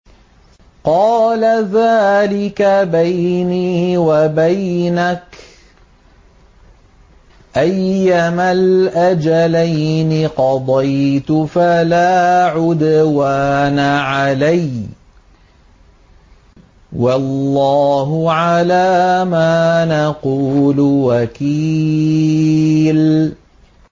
قَالَ ذَٰلِكَ بَيْنِي وَبَيْنَكَ ۖ أَيَّمَا الْأَجَلَيْنِ قَضَيْتُ فَلَا عُدْوَانَ عَلَيَّ ۖ وَاللَّهُ عَلَىٰ مَا نَقُولُ وَكِيلٌ